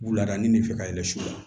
Wuladaani de fɛ ka yɛlɛ su